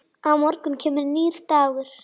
Á morgun kemur nýr dagur.